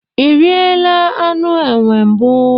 Iriela anụ enwe mbụ?